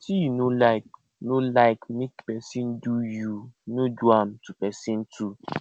wetin yu no like no like mek pesin do yu no do am to pesin too